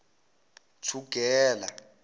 thugela